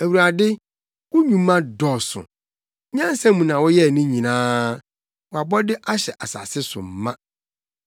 Awurade, wo nnwuma dɔɔso! Nyansa mu na woyɛɛ ne nyinaa; wʼabɔde ahyɛ asase so ma.